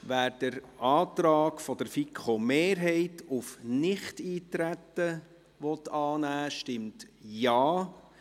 Wer den Antrag der FiKo-Mehrheit auf Nichteintreten annehmen will, stimmt Ja,